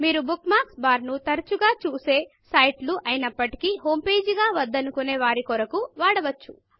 మీరు bookmarks bar ను తరచుగా చూసే సైట్ లు అయినప్పటికీ హోం పేజ్ గా వద్దు అనుకునే వారి కొరకు వాడవచ్చు